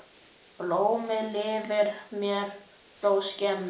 Blómið lifir mér þó skemur.